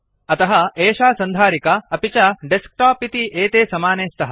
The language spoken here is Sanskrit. अतः एषा सन्धारिका अपि च डेस्क्टोप् इति एते समाने स्तः